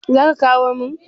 zaka kawo min?